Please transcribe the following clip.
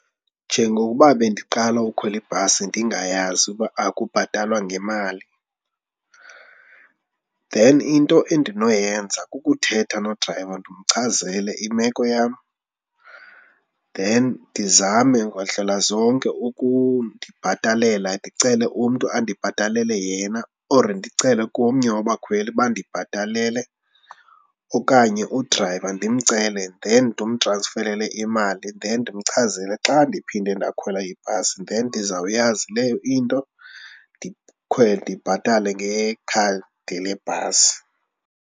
Njengokuba bendiqala ukukhwela ibhasi ndingayazi uba akubhatalwa ngemali then into endinoyenza kukuthetha nodrayiva ndimchazele imeko yam then ndizame ngandlela zonke ukundibhatalela, ndicele umntu andibhatalele yena or ndicele komnye wabakhweli bandibhatalele okanye udrayiva ndimcele then ndimtransferele imali then ndimchazele xa ndiphinde ndakhwela ibhasi then ndizawuyazi leyo into, ndikhwele ndibhatale ngekhadi lebhasi.